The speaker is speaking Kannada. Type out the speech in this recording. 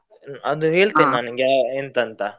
ಅದು ನಿಂಗೆ ಎಂತ ಅಂತ.